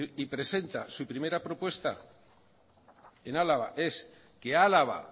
y presenta su primera propuesta en álava es que álava